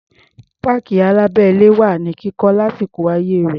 Páàkì alábẹ́-ilé wà ní kíkọ́ lásìkò ayé rẹ̀.